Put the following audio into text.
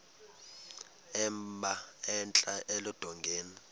emba entla eludongeni